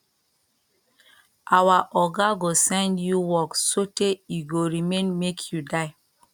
our oga go send you work sotee e go remain make you die